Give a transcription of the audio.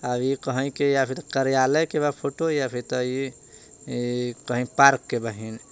कहैं के या फिर कार्यालय के बा फोटो या फिर त ई ईई कहीं पार्क के बहिं।